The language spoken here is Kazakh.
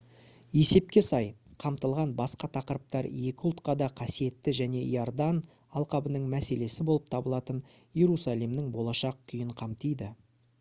есепке сай қамтылған басқа тақырыптар екі ұлтқа да қасиетті және йордан алқабының мәселесі болып табылатын иерусалимнің болашақ күйін қамтиды